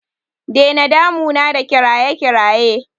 Dena damuna da kiraye kiraye!